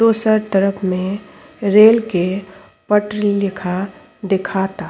ओसर तरफ में रेल के पटरी लिखा दिखा ता।